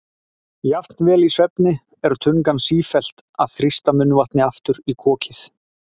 Jafnvel í svefni er tungan sífellt að þrýsta munnvatni aftur í kokið.